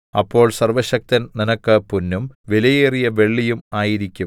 അപ്പോൾ സർവ്വശക്തൻ നിനക്ക് പൊന്നും വിലയേറിയ വെള്ളിയും ആയിരിക്കും